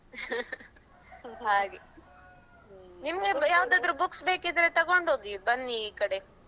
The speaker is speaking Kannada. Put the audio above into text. ಹಾಗೆ ನಿಮ್ಗೆ ಯಾವುದಾದ್ರೂ books ಬೇಕಿದ್ರೆ ತಗೊಂಡ್ಹೋಗಿ ಬನ್ನಿ ಈಕಡೆ.